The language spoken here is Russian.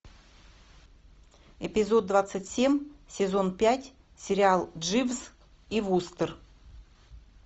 эпизод двадцать семь сезон пять сериал дживс и вустер